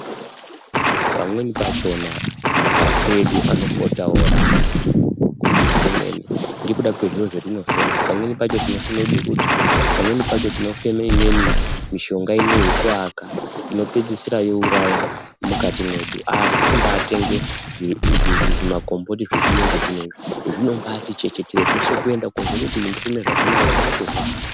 Pamweni pachona mapapapu edu anopota ooramba kufema kwemene ngekuda kwezviro zvetinofema, pamweni pacho tinofeme bukuta, pamweni pacho tinofeme imweni mishonga inei yekuaka inopedzisira yoouraya mukati mwedu, asi kumbaatenge zvimagomboti zvechiyungu zvinezvi zvinobaati chechetere zveshe kuende koozwa kuti ndakufema zvakanaka kubaati hwa-a.